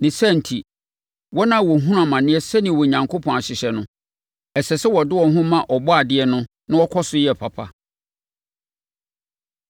Ne saa enti, wɔn a wɔhunu amane sɛdeɛ Onyankopɔn ahyehyɛ no, ɛsɛ sɛ wɔde wɔn ho ma Ɔbɔadeɛ no na wɔkɔ so yɛ papa.